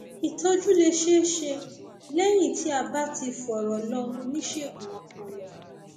ìtọjú lè ṣeé ṣe lẹyìn tí a bá ti fọrọ lọ oníṣègùn ọpọlọ